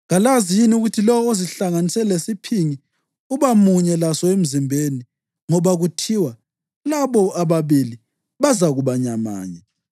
Kalazi yini ukuthi lowo ozihlanganise lesiphingi uba munye laso emzimbeni? Ngoba kuthiwa, “Labo ababili bazakuba nyamanye.” + 6.16 UGenesisi 2.24